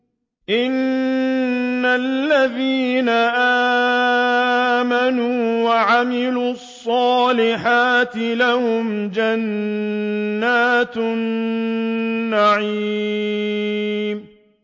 إِنَّ الَّذِينَ آمَنُوا وَعَمِلُوا الصَّالِحَاتِ لَهُمْ جَنَّاتُ النَّعِيمِ